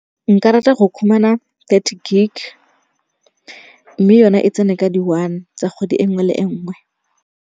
Nka rata go khumana thirty gig, mme yone e tsene ka di-one tsa kgwedi e nngwe le e nngwe.